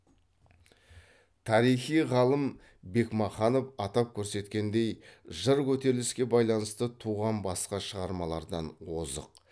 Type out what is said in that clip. тарихи ғалым бекмаханов атап көрсеткендей жыр көтеріліске байланысты туған басқа шығармалардан озық